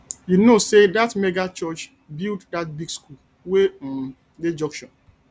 you know sey dat mega church build dat big skool wey um dey junction